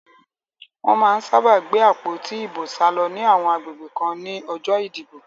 Wọ́n má ń sábà gbé àpótí ìbò sálọ ní àwọn agbègbè kan ní ọjọ́ ìdìbò